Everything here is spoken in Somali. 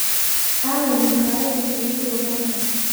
aaway makhaayadda kuugu dhow halkan?